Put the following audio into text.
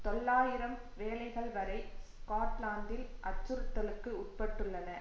தொள்ளாயிரம் வேலைகள் வரை ஸ்கொட்லாந்தில் அச்சுறுத்தலுக்கு உட்பட்டுள்ளன